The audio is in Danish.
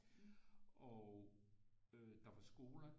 Og øh der var skoler